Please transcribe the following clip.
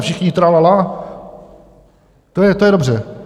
A všichni tralalá, to je dobře.